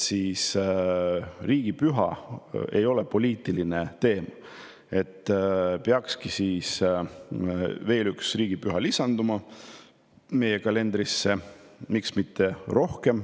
Kuna riigipüha teema ei ole poliitiline, peakski veel üks riigipüha meie kalendrisse lisanduma, miks mitte ka rohkem.